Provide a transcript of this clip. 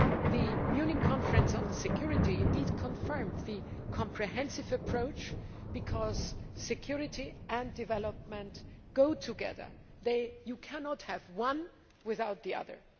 The Munich Conference on Security confirmed the comprehensive approach, because security and development go together you cannot have one without the other.